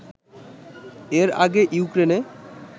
এর আগে ইউক্রেনে